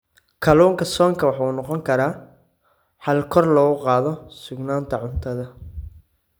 Kalluunka soonka waxa uu noqon karaa xal kor loogu qaado sugnaanta cuntada.